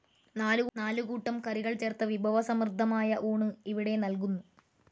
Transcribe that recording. നാലു കൂട്ടം കറികൾ ചേർത്ത വിഭവസമൃദ്ധമായ ഊണ് ഇവിടെ നൽകുന്നു.